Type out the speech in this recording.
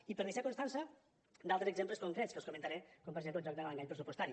i per deixar constància d’altres exemples concrets que els comentaré com per exemple el joc de l’engany pressupostari